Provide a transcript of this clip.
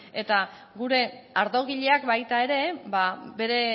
eta gure ardogileak baita ere